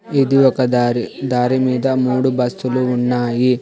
ఇది ఒక దారి దారి మీద మూడు బస్సులు ఉన్నాయి.